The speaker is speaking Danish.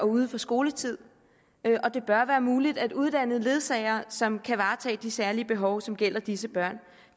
uden for skoletid og det bør være muligt at uddanne ledsagere som kan varetage de særlige behov som gælder disse børn